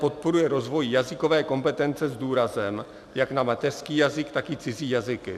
"Podporuje rozvoj jazykové kompetence s důrazem jak na mateřský jazyk, tak i cizí jazyky.